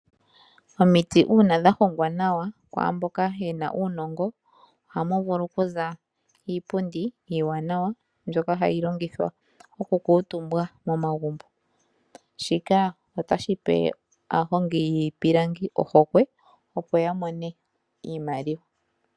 Omiti una dha hongwa nawa kwamboka yena uunongo ohamu vulu okuza iipundi iiwanawa mbyoka hayi longithwa oku okutumbwa momagumbo. Shika ota shipe aahongi yiipilangi ohokwe opo ya mone iimaliwa.